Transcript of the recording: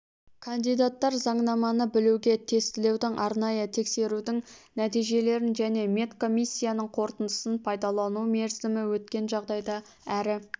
кандидаттар заңнаманы білуге тестілеудің арнайы тексерудің нәтижелерін және медкомиссияның қорытындысын пайдалану мерзімі өткен жағдайда әрі